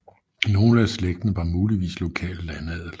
Nogle af slægten var muligvis lokal landadel